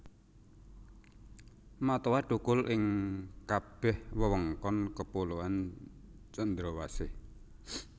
Matoa thukul ing kabeh wewengkon kepulauan Cendrawasih